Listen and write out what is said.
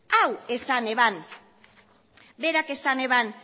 hau esan eban berak esan eban